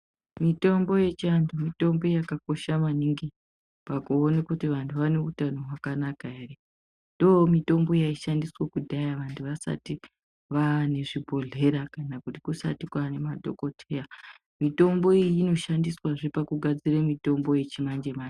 Mitombo yeantu mitombo yakakosha maningi pakuwone kuti vantu vanehutano hwakanaka here ,ndomitombo yayishandiswa kudhaya vantu vasati vaanezvibhedlera kana kuti kusati kwaane madhokodheya ,mitombo inoshandiswe zve pakugadzire mitombo yechimanje manje.